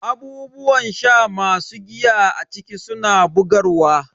Abubuwan sha masu giya a ciki suna bugarwa.